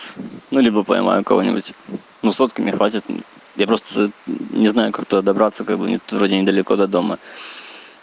ну либо поймаю кого-нибудь ну сотки мне хватит я просто не знаю как туда добраться как бы тут вроде недалеко до дома